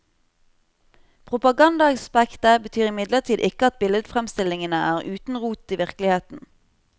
Propagandaaspektet betyr imidlertid ikke at billedfremstillingene er uten rot i virkeligheten.